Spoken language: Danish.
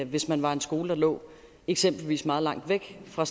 hvis man er en skole der eksempelvis ligger meget langt væk fra